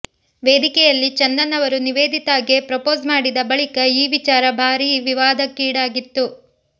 ವೇದಿಕೆಯಲ್ಲಿ ಚಂದನ್ ಅವರು ನಿವೇದಿತಾಗೆ ಪ್ರಪೋಸ್ ಮಾಡಿದ ಬಳಿಕ ಈ ವಿಚಾರ ಭಾರೀ ವಿವಾದಕ್ಕಿಡಾಗಿತ್ತು